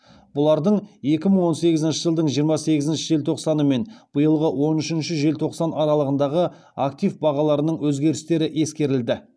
бұлардың екі мың он сегізінші жылдың жиырма сегізінші желтоқсаны мен биылғы он үшінші желтоқсан аралығындағы актив бағаларының өзгерістері ескерілді